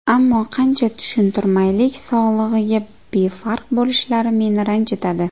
Ammo qancha tushuntirmaylik, sog‘lig‘iga befarq bo‘lishlari meni ranjitadi.